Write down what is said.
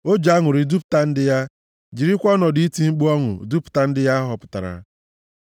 O ji aṅụrị dupụta ndị ya, jirikwa ọnọdụ iti mkpu ọṅụ dupụta ndị ya ọ họpụtara;